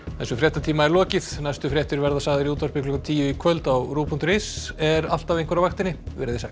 þessum fréttatíma er lokið næstu fréttir verða sagðar í útvarpi klukkan tíu í kvöld og á ruv punktur is er alltaf einhver á vaktinni verið sæl